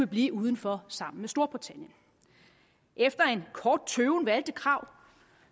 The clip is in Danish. blive uden for sammen med storbritannien efter en kort tøven valgte krag